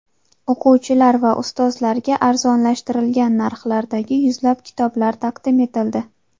O‘quvchilar va ustozlarga arzonlashtirilgan narxlardagi yuzlab kitoblar taqdim etildi.